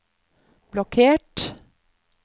blokkert